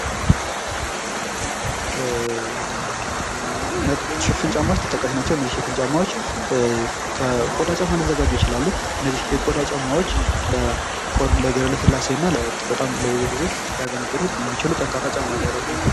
ጫማዎች ተጠቃሽ ናቸው እነዚህን ሽፍን ጫማዎች ከቆዳ ጫማ ሊዘጋጁ ይችላሉ ከነዚህ የቆዳ ጫማዎች ለግር ለስላሴና በጣም ብዙ ጊዜ ያሚያገለግሉ የሚችሉ ጠንቃራ ጫሞች ናቸው።